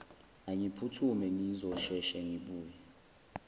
angiphuthume ngizosheshe ngibuye